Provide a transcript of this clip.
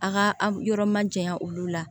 A ka a yɔrɔ majanya olu la